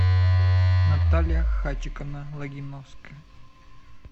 наталья хачиковна логиновская